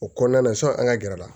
O kɔnɔna na sɔnni an ka gɛrɛ a la